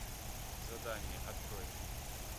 задание открой